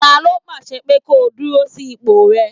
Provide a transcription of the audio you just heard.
Ta ló pàṣẹ pé ko kúrò ní ipò rẹ?